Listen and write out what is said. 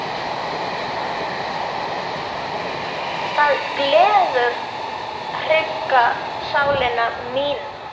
Það gleður hrygga sálina mína.